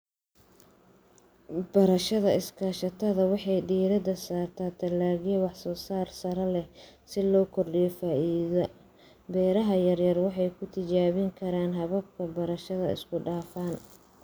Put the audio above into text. Beerashada iskaashatada waxay diiradda saartaa dalagyada wax soo saarka sare leh si loo kordhiyo faa'iidada. Beeraha yaryar waxay ku tijaabin karaan hababka beerashada isku dhafan.